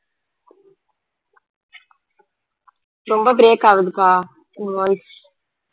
ரொம்ப break ஆவுதுப்பா உன் voice